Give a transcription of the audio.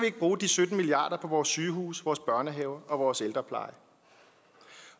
ikke bruge de sytten milliard kroner på vores sygehuse vores børnehaver og vores ældrepleje